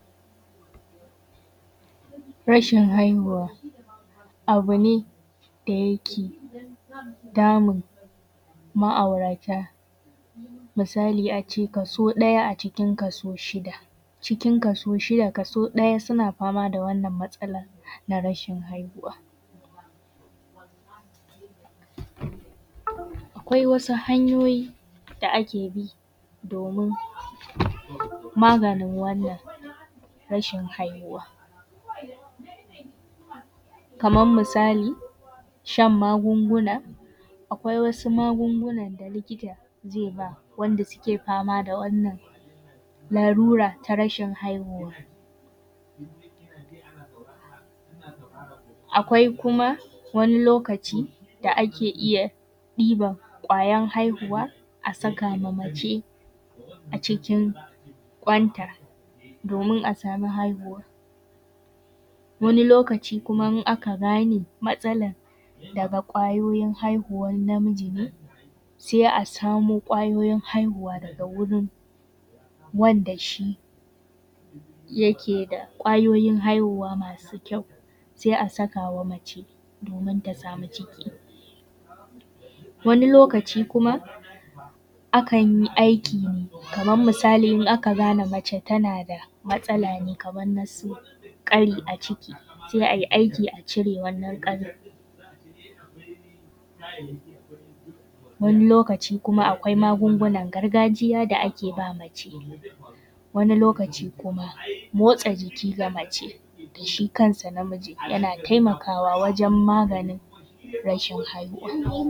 Rashin haihuwa abu ne da yake damun ma’aurata, misali a ce kaso ɗaya a cikin kaso shida cikin kaso shida kaso ɗaya na fama da wannan matsalan na rashin haihuwa. Akwai wasu hanyoyi da ake bi domin maganin wannan rashin haihuwa kaman misali shan magunguna, akwai wasu magunguna da likita zai ba ma waɗanda suke fama da matsalan rashin haihuwa, akwai kuma wani lokaci da ake iya ɗiban kwayan haihuwa a saka ma mace a cikin kwanta domin a sama haihuwa, wani lokaci kuma in aka gane matsalan daga kwayoyin haihuwan namiji ne sai a samu kwayoyin hainuwa daga wurin wanda shi yake da kwayoyin haihuwa masu kyau sai a saka wa mace domin ta sami ciki. Wani lokaci kuma akan yi aiki kaman misali in aka gane mace tana da matsale kaman na sanyi za a yi aiki a cire wannan ƙarin, wani lokaci kuma akwai magungunan gargajiya da ake ba mace, wani lokaci kuma motsa jiki na mace, shi kan sa namijin yana taimakawa wajen maganin rashin haihuwa.